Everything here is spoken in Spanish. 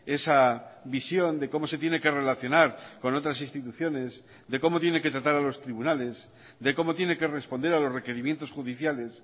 esa visión de cómo se tiene que relacionar con otras instituciones de cómo tiene que tratar a los tribunales de cómo tiene que responder a los requerimientos judiciales